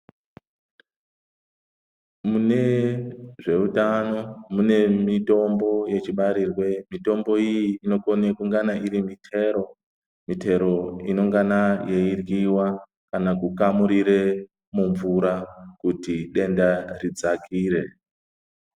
Mune zveutano mune mitombo yechibarirwe, mitombo iyi inokone kungana iri muchero iyo inongana yeiryiwa kana kukamurire mumvura kuti denda ridzakire.